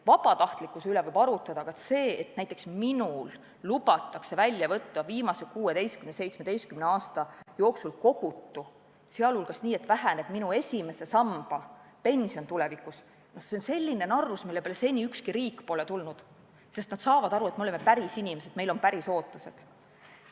Vabatahtlikkuse üle võib arutada, aga see, et näiteks minul lubatakse välja võtta viimase 16–17 aasta jooksul kogutu, seejuures nii, et tulevikus väheneb minu esimese samba pension, on selline narrus, mille peale seni ükski riik pole tulnud, sest saadakse aru, et me oleme pärisinimesed, meil on pärisootused.